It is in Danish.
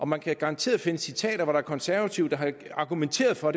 man kan garanteret finde citater af konservative der har argumenteret for